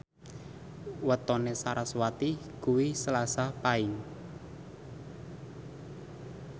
wetone sarasvati kuwi Selasa Paing